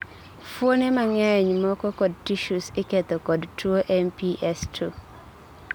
fuone mang'eny moko kod tissues iketho kod tuwo MPS II